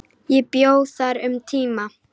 Ég bjó þar um tíma.